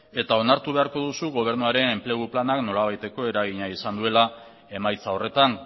eta onartu beharko duzu gobernuaren enplegu planak nolabaiteko eragina izan duela emaitza horretan